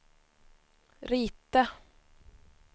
rita